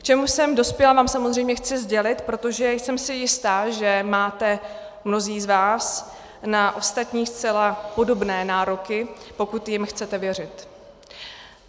K čemu jsem dospěla, vám samozřejmě chci sdělit, protože jsem si jista, že máte mnozí z vás na ostatní zcela podobné nároky, pokud jim chcete věřit.